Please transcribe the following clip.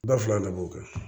Ba fila de b'o kɛ